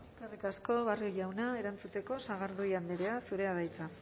eskerrik asko barrio jauna erantzuteko sagardui andrea zurea da hitza